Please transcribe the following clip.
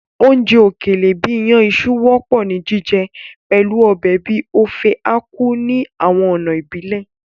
Oúnjẹ òkèlè bìí iyàn iṣu wọ́pọ̀ ni jíjẹ pẹ̀lu ọbẹ̀ bíi Ofe Akwu ní àwọn ọ̀nà ìbílẹ̀.